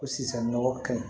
Ko sisan nɔgɔ kɛlen